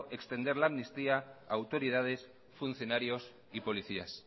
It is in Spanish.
extender al amnistía a autoridades funcionarios y policías